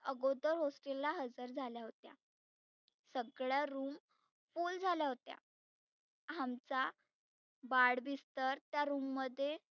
अगोदर hostel ला हजर झाल्या होत्या. सगळ्या room full झाल्या होत्या. आमचा बाढ बिस्तर त्या room मध्ये